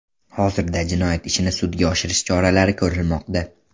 Hozirda jinoyat ishini sudga oshirish choralari ko‘rilmoqda.